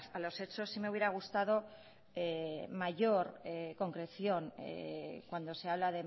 a los hechos sí me hubiera gustado mayor concreción cuando se habla